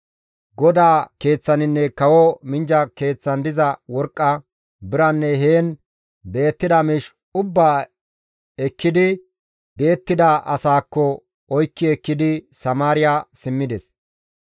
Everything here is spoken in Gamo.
GODAA Keeththaninne kawo minjja keeththan diza worqqa, biranne heen beettida miish ubbaa ekkidi di7ettida asaakka oykki ekkidi Samaariya simmides.